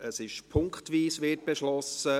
Es wird punktweise beschlossen.